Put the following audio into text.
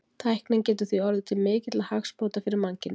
Tæknin getur því orðið til mikilla hagsbóta fyrir mannkynið.